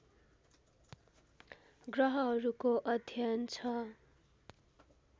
ग्रहहरूको अध्ययन छ